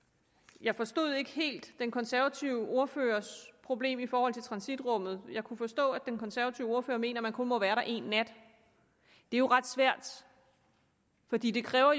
jeg forstod ikke helt den konservative ordførers problem i forhold til transitrummet jeg kunne forstå at den konservative ordfører mener at man kun må være der én nat det er jo ret svært fordi det kræver